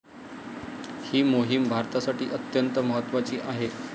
ही मोहिम भारतासाठी अत्यंत महत्वाची आहे.